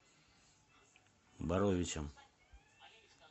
боровичам